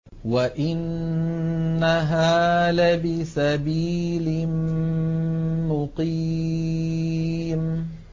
وَإِنَّهَا لَبِسَبِيلٍ مُّقِيمٍ